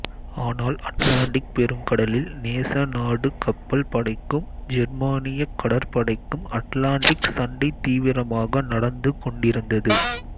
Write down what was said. ஆனால் அட்லாண்டிக் பெருங்கடலில் நேச நாட்டு கப்பல் படைக்கும் ஜெர்மானியக் கடற்படைக்கும் அட்லாண்டிக் சண்டை தீவிரமாக நடந்து கொண்டிருந்தது